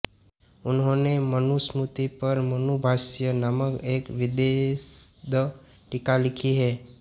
उन्होने मनुस्मृति पर मनुभाष्य नामक एक विशद टीका लिखी है